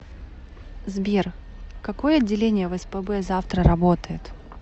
сбер какое отделение в спб завтра работает